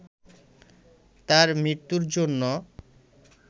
তার মৃত্যুর জন্য